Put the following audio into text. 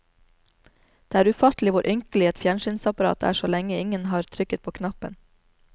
Det er ufattelig hvor ynkelig et fjernsynsapparat er så lenge ingen har trykket på knappen.